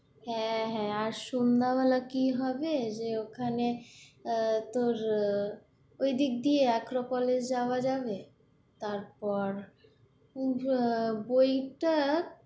হ্যাঁ হ্যাঁ, আর সন্ধ্যায় বেলা কি হবে যে ওখানে আহ তোর আহ ওই দিক দিয়ে আক্ক্রপলিস যাওয়া যাবে তারপর ওই যে বইটা"